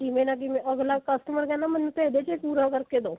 ਕਿਵੇਂ ਨਾ ਕਿਵੇਂ ਅਗਲਾ customer ਕਹਿੰਦਾ ਮੈਨੂੰ ਤਾਂ ਇਹਦੇ ਵਿੱਚ ਹੀ ਪੂਰਾ ਕਰਕੇ ਦੋ